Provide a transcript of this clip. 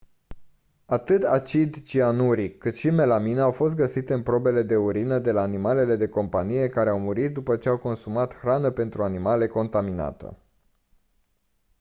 atât acid cianuric cât și melamină au fost găsite în probe de urină de la animale de companie care au murit după ce au consumat hrană pentru animale contaminată